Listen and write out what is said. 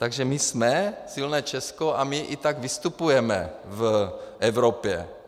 Takže my jsme silné Česko a my i tak vystupujeme v Evropě.